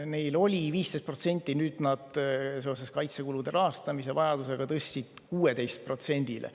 Neil oli see 15%, seoses kaitsekulude rahastamise vajadusega nad tõstsid selle 16%‑le.